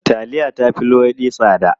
Taliya ta fi luwaiɗi tsada.